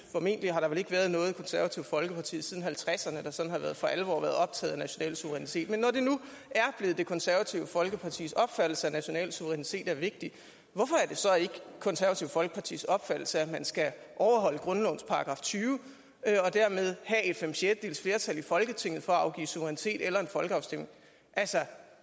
formentlig har der vel ikke været noget konservativt folkeparti siden nitten halvtredserne der sådan for alvor har været optaget af national suverænitet er blevet det konservative folkepartis opfattelse at national suverænitet er vigtigt hvorfor er det så ikke det konservative folkepartis opfattelse at man skal overholde grundlovens § tyve og dermed have et fem sjettedels flertal i folketinget for at afgive suverænitet eller en folkeafstemning altså